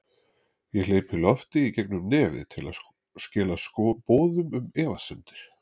Ég hleypi lofti í gegn um nefið til að skila boðum um efasemdir.